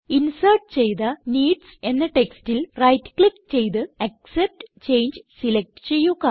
insert ചെയ്ത needs എന്ന ടെക്സ്റ്റിൽ റൈറ്റ് ക്ലിക്ക് ചെയ്ത് ആക്സെപ്റ്റ് ചങ്ങെ സിലക്റ്റ് ചെയ്യുക